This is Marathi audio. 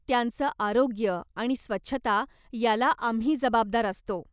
त्यांचं आरोग्य आणि स्वच्छता याला आम्ही जबाबदार असतो.